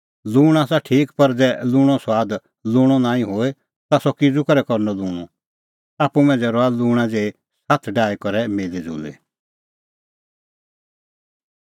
लूंण आसा ठीक पर ज़ै लूंणो सुआद लूंणअ नांईं होए ता सह किज़ू करै करनअ लूंणअ आप्पू मांझ़ै रहा लूंणा ज़ेही साथ डाही करै मिल़ीज़ुल़ी